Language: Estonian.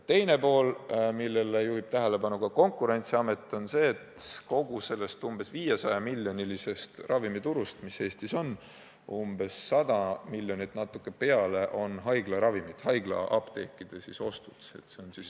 Teine argument, millele juhib tähelepanu ka Konkurentsiamet, on see, et kogu umbes 500-miljonilisest ravimiturust, mis Eestis on, umbes 100 miljonit eurot ja natuke peale on maksnud haiglaapteekide ostetud ravimid.